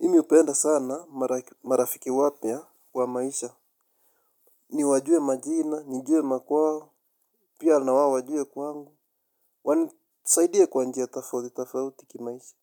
Mi hupenda sana marafiki wapya kwa maisha. Ni wajue majina, nijue makwao, pia na wao wajue kwangu. Tusaidie kwa njia tofauti, tofauti kimaisha.